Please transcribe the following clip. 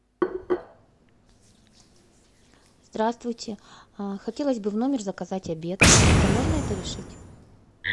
здравствуйте хотелось бы в номер заказать обед как то можно это решить